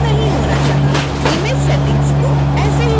image settings को ऐसे ही रखें